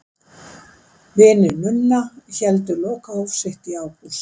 Vinir Nunna héldu lokahóf sitt í ágúst.